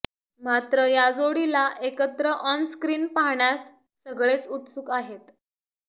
मात्र या जोडीला एकत्र ऑनस्क्रीन पाहण्यास सगळेच उत्सुक आहेत